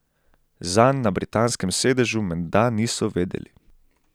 Zanj na britanskem sedežu menda niso vedeli.